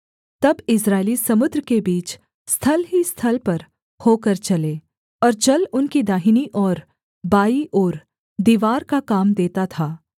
तब इस्राएली समुद्र के बीच स्थल ही स्थल पर होकर चले और जल उनकी दाहिनी और बाईं ओर दीवार का काम देता था